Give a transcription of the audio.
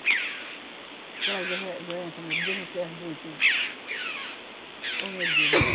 Aquelas dorren doença, meu Deus me perdoe que... Oh, meu Deus!